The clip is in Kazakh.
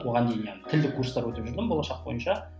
оған дейін яғни тілдік курстар өтіп жүрдім болашақ бойынша